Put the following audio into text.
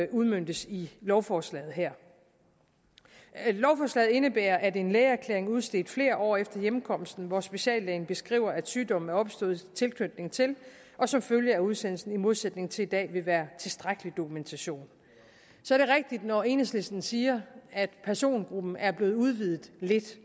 udmøntes i lovforslaget her lovforslaget indebærer at en lægeerklæring udstedt flere år efter hjemkomsten hvor speciallægen beskriver at sygdommen er opstået i tilknytning til og som følge af udsendelsen i modsætning til i dag vil være tilstrækkelig dokumentation så er det rigtigt når enhedslisten siger at persongruppen er blevet udvidet lidt